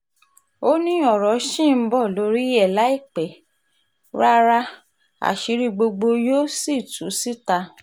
ó ní ọ̀rọ̀ ṣì ń bọ́ lórí ẹ̀ láì pẹ́ rárá àṣírí gbogbo yóò sì tú síta